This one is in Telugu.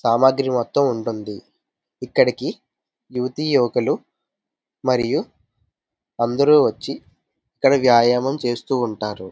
సామగ్రి మొత్తం ఉంటుంది ఇక్కడికి యువతీ యువకులు మరియు అందరు వచ్చి ఇక్కడ వ్యాయామం చేస్తుంటారు